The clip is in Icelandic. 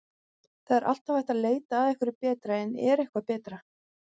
Það er alltaf hægt að leita að einhverju betra en er eitthvað betra?